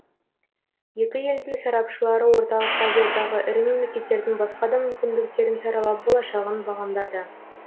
екі елдің сарапшылары орталық азиядағы ірі мемлекеттердің басқа да мүмкіндіктерін саралап болашағын бағамдады